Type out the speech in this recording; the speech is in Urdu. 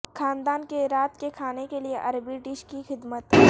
خاندان کے رات کے کھانے کے لئے عربی ڈش کی خدمت